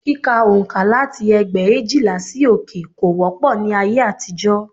Kíka oǹkà láti ẹgbẹ̀éjìlá sí òkè kò wọ́pọ̀ ní ayé àtijọ́